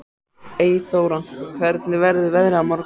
Eyþóra, hvernig verður veðrið á morgun?